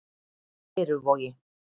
Leiruvogi